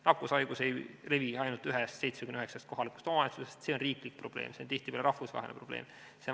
Nakkus ei levi ainult ühes 79-st kohalikust omavalitsusest, see on riiklik probleem, see on tihtipeale rahvusvaheline probleem.